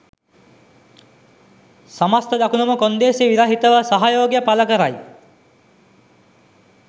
සමස්ථ දකුණම කොන්දේසි විරහිතව සහයෝගය පළකරයි